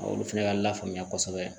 Olu fɛnɛ ka lafaamuya kosɛbɛ